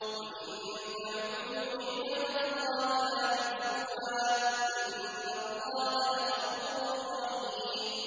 وَإِن تَعُدُّوا نِعْمَةَ اللَّهِ لَا تُحْصُوهَا ۗ إِنَّ اللَّهَ لَغَفُورٌ رَّحِيمٌ